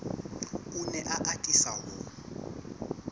o ne a atisa ho